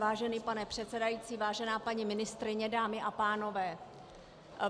Vážený pane předsedající, vážená paní ministryně, dámy a pánové.